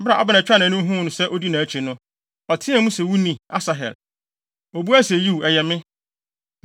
Bere a Abner twaa nʼani huu sɛ odi nʼakyi no, ɔteɛɛ mu se, “Wo ni, Asahel!” Obuae se, “Yiw, ɛyɛ me!”